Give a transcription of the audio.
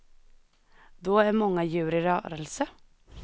Då är många djur i rörelse.